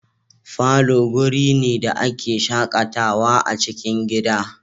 Falo guri ne da a ke shakatawa a cikin gida